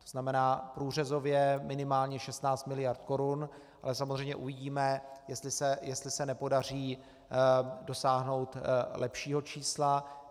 To znamená, průřezově minimálně 16 mld. korun, ale samozřejmě uvidíme, jestli se nepodaří dosáhnout lepšího čísla.